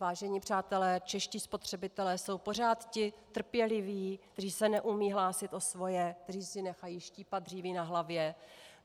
Vážení přátelé, čeští spotřebitelé jsou pořád ti trpěliví, kteří se neumí hlásit o svoje, kteří si nechají štípat dříví na hlavě.